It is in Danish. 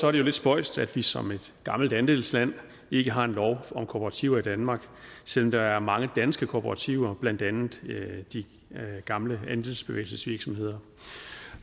er det jo lidt spøjst at vi som et gammelt andelsland ikke har en lov om kooperativer i danmark selv om der er mange danske kooperativer blandt andet de gamle andelsbevægelsesvirksomheder